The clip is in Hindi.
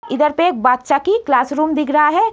इधर पे बादशाह की क्लासरूम दिख रहा है।